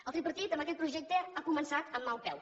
el tripartit amb aquest projecte ha començat amb mal peu